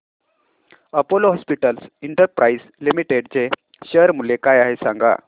Apollo hospitals enterprise limited चे share मूल्य काय आहे सांगा